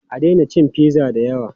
A daina cin pizza da yawa!